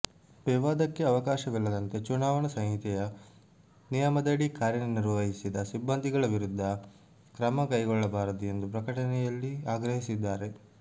ವಿವಾದಕ್ಕೆ ಅವಕಾಶವಿಲ್ಲದಂತೆ ಚುನಾವಣೆ ಸಂಹಿತೆಯ ನಿಯಮದಡಿ ಕಾರ್ಯನಿರ್ವಹಿಸಿದ ಸಿಬ್ಬಂದಿಗಳ ವಿರುದ್ಧ ಕ್ರಮ ಕೈಗೊಳ್ಳಬಾರದು ಎಂದು ಪ್ರಕಟಣೆಯಲ್ಲಿ ಆಗ್ರಹಿದ್ದಾರೆ